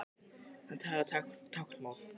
Hann talar táknmál.